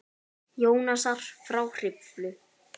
Jónasar frá Hriflu.